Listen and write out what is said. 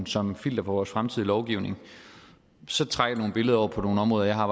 som filter på vores fremtidige lovgivning så trækker det nogle billeder over på nogle områder jeg har